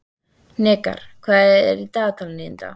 Hnikar, hvað er í dagatalinu í dag?